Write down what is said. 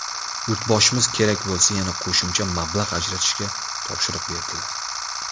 Yurtboshimiz kerak bo‘lsa yana qo‘shimcha mablag‘ ajratishga topshiriq berdilar.